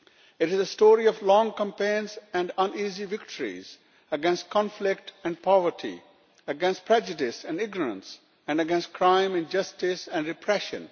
It is a story of long campaigns and uneasy victories against conflict and poverty, against prejudice and ignorance and against crime and justice and repression.